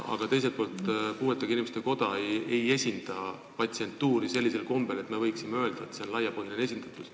Aga teiselt poolt, puuetega inimeste koda ei esinda patsientuuri sellisel kombel, et me võiksime öelda, nagu seal oleks laiapõhjaline esindatus.